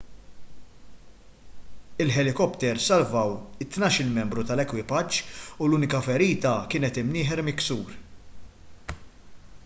il-ħelikopters salvaw it-tnax-il membru tal-ekwipaġġ u l-unika ferita kienet imnieħer miksur